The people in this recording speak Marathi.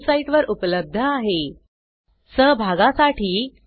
या ट्यूटोरियल चे भाषांतर कविता साळवे यांनी केले असून मी रंजना भांबळे आपला निरोप घेते